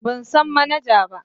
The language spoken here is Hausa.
Ban san manaja ba.